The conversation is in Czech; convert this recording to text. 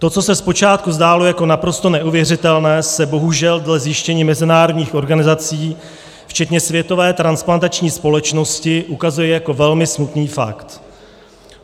To, co se zpočátku zdálo jako naprosto neuvěřitelné, se bohužel dle zjištění mezinárodních organizací, včetně Světové transplantační společnosti, ukazuje jako velmi smutný fakt.